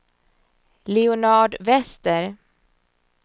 Leonard Wester